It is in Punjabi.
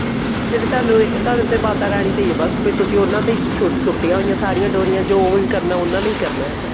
ਜਿਵੇਂ ਤੁਹਾਨੂੰ ਏ ਤੁਹਾਨੂੰ ਤੇ ਮਾਤਾ ਰਾਣੀ ਤੇ ਹੈ ਬੱਸ ਵੀ ਤੁਸੀਂ ਉਹਨਾ ਤੇ ਹੀ ਸੁੱਟੀਆਂ ਹੋਈਆ ਹੈ ਸਾਰੀਆਂ ਡੋਰੀਆਂ ਜੋ ਵੀ ਕਰਨਾ ਉਹਨਾ ਨੇ ਹੀ ਕਰਨਾ ਹਨਾ